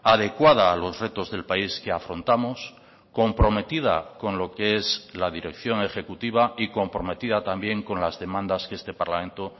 adecuada a los retos del país que afrontamos comprometida con lo que es la dirección ejecutiva y comprometida también con las demandas que este parlamento